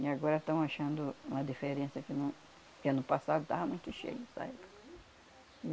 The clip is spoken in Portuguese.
E agora tão achando uma diferença que no que ano passado estava muito cheio, essa época. E